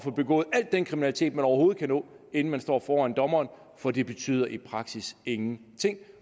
at begå al den kriminalitet man overhovedet kan nå inden man står foran dommeren for det betyder i praksis ingenting